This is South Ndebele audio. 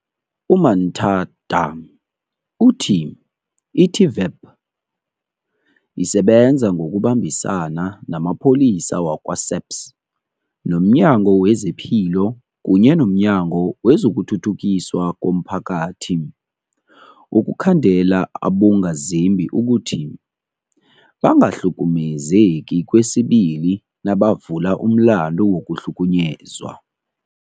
U-Manthada uthi i-TVEP isebenza ngokubambisana namapholisa wakwa-SAPS, nomNyango wezePilo kunye nomNyango wezokuThuthukiswa komPhakathi ukukhandela abongazimbi ukuthi bangakhahlumezeki kwesibili nabavula umlandu wokukhahlunyezwa.